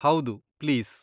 ಹೌದು, ಪ್ಲೀಸ್.